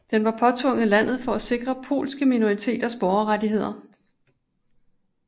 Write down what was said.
Den var påtvunget landet for at sikre polske minoriteters borgerrettigheder